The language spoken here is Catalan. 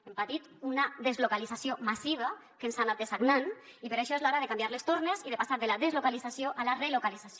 hem patit una deslocalització massiva que ens ha anat dessagnant i per això és l’hora de canviar les tornes i de passar de la deslocalització a la relocalització